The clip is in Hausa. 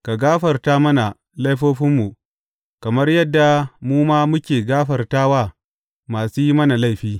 Ka gafarta mana laifofinmu, kamar yadda mu ma muke gafarta wa masu yin mana laifi.